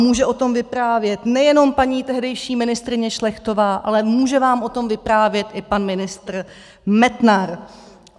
Může o tom vyprávět nejenom paní tehdejší ministryně Šlechtová, ale může vám o tom vyprávět i pan ministr Metnar.